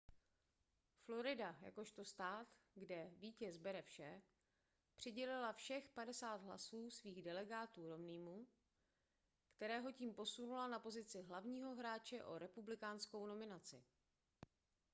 florida jakožto stát kde vítěz bere vše přidělila všech padesát hlasů svých delegátů romneymu kterého tím posunula na pozici hlavního hráče o republikánskou nominaci